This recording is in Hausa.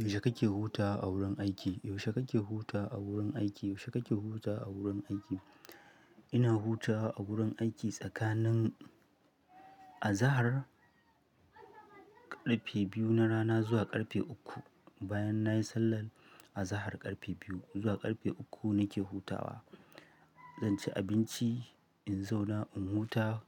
Yaushe kake hutawa a wurin aiki? Yaushe kake hutawa a wurin aiki? Yaushe kake hutawa a wurin aiki? Ina hutawa a gurin aiki tsakanin, Azahar karfe biyu na rana zuwa karfe uku. Bayan na yi sallar Azahar karfe biyu zuwa karfe uku, nake hutawa. Zan ci abinci, in zauna, in huta